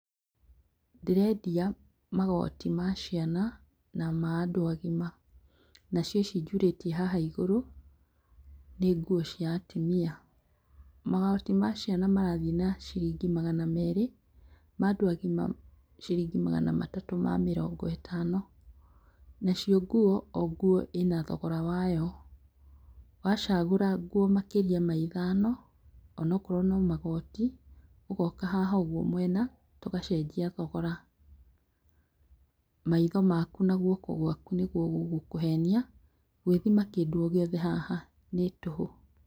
Ndĩrendia magoti ma ciana na ma andũ agima nacio ici njurĩtie haha igũrũ nĩ nguo cia atumia, magoti ma ciana marathiĩ na ciringi magana merĩ ma andũ agima ciringi magana matatũ ma mĩrongo ĩtano, nacio nguo, o nguo ĩna thogora wayo, wacagũra nguo makĩria ma ithano ona korwo no magoti ogoka haha ũguo mwena tũgacenjia thogora, maitho maku na guoko gwaku nĩguo gũgũkũhenia, gwĩthima kĩndũ gĩothe haha nĩ tũhũ.